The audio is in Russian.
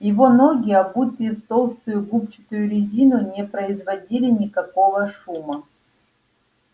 его ноги обутые в толстую губчатую резину не производили никакого шума